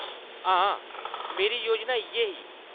हां, मेरी योजना इʼयै ही।